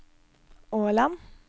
Årland